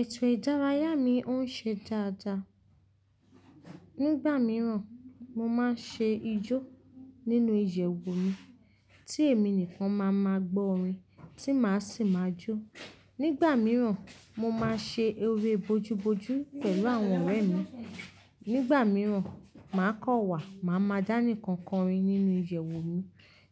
Ẹtọ ìdárayá mi òún ṣe dáadáa. Nígbà mìíràn, mo máa ń ṣe ijó nínú iyewu mi tí èmi nìkan máa máa gbọ́ orin tí màá sì máa jó. Nígbà mìíràn, mo máa ṣe ere bojú bojú pẹ̀lú àwọn ọ̀rẹ́ mi. Nígbà mìíràn, màá kọ̀ wà, màá máa dání kan korin nínú ìyewu mi.